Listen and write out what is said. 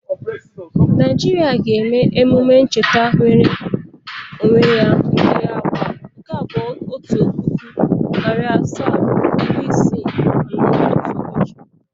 Naijiria ga-eme emume ncheta nwere onwe ya nke agba otu puku, nari asaa, iri isii na anọ otu ụbọchị.